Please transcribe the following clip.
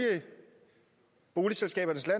boligselskabernes